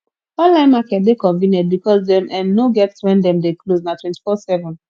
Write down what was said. online market de convenient because dem um no get when dem de close na twenty four seven